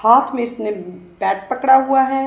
हाथ में इसने बैट पकड़ा हुआ है।